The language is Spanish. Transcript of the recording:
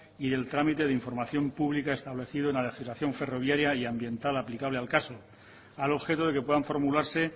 y el trámite de información pública establecido en la legislación ferroviaria y ambiental aplicable al caso al objeto de que puedan formularse